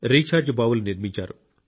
recharge బావులు నిర్మించారు